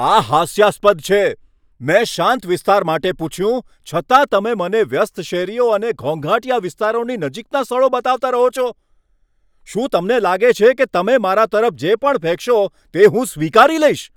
આ હાસ્યાસ્પદ છે. મેં શાંત વિસ્તાર માટે પૂછ્યું, છતાં તમે મને વ્યસ્ત શેરીઓ અને ઘોંઘાટીયા વિસ્તારોની નજીકના સ્થળો બતાવતા રહો છો. શું તમને લાગે છે કે તમે મારા તરફ જે પણ ફેંકશો તે હું સ્વીકારી લઈશ?